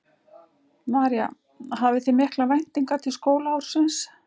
María: Hafið þið miklar væntingar til skólaársins?